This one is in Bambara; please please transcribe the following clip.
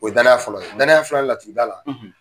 O ye danaya fɔlɔ ye danaya filanan laturu da la